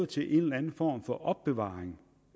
til en eller anden form for opbevaring